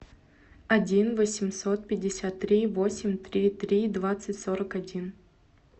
один восемьсот пятьдесят три восемь три три двадцать сорок один